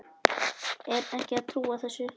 Er ekki að trúa þessu.